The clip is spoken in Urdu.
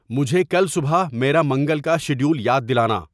مجھے کل صبح میرا منگل کا شیڈیول یاد دلانا